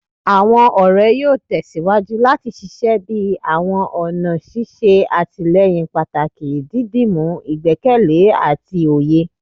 Awọn ọrẹ yoo tẹsiwaju lati ṣiṣẹ bi awọn ọna ṣiṣe atilẹyin pataki, didimu igbẹkẹle ati oye